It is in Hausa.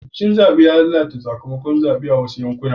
Rikicin zaɓe ya lalata sakamakon zaɓen a wasu yankunan